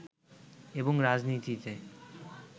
এবং রাজনীতিতে